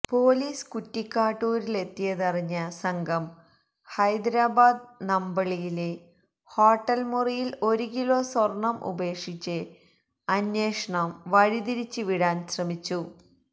police കുറ്റിക്കാട്ടൂരിലെത്തിയതറിഞ്ഞ സംഘം ഹൈദരാബാദ് നമ്പളളിയിലെ ഹോട്ടല് മുറിയില് ഒരു കിലോ സ്വര്ണം ഉപേക്ഷിച്ച് അന്വേഷണം വഴിതിരിച്ച് വിടാന് ശ്രമിച്ചു